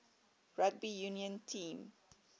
rugby union team